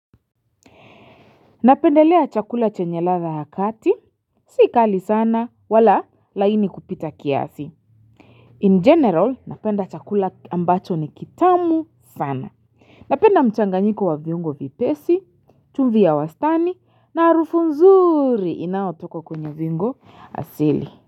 Napendelea chakula chenye ladha ya kati. Sikali sana, wala laini kupita kiasi. In general, napenda chakula ambacho ni kitamu sana. Napenda mchanganyiko wa viungo vyepesi, chumvi ya wastani, na harufu nzuri inaotoka kwenye viungo asili.